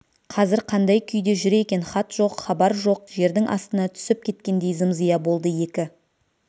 қазір қандай күйде жүр екен хат жоқ хабар жоқ жердің астына түсіп кеткендей зым-зия болды екі